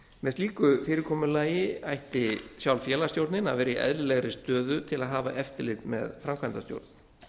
með slíku fyrirkomulagi ætti sjálf félagsstjórnin að vera í eðlilegri stöðu til að hafa eftirlit með framkvæmdastjórn